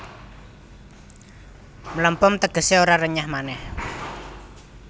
Mlempem tegesé ora renyah manéh